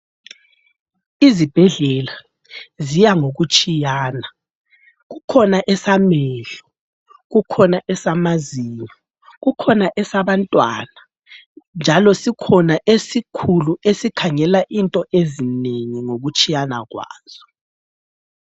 Izibhedlela ziya ngokutshiyana, kukhona esamehlo, kukhona esamazinyo, kukhona esabantwana njalo sikhona esikhulu esikhangela into ezinengi ngokutshiyana kwazo.